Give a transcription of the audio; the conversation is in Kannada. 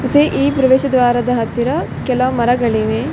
ಮತ್ತೆ ಈ ಪ್ರವೇಶ ದ್ವಾರದ ಹತ್ತಿರ ಕೆಲ ಮರಗಳಿವೆ .